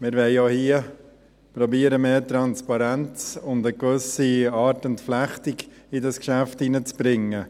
Wir wollen auch hier versuchen, mehr Transparenz und eine gewisse Art Entflechtung in dieses Geschäft reinzubringen.